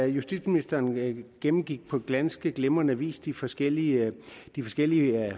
justitsministeren gennemgik på ganske glimrende vis de forskellige de forskellige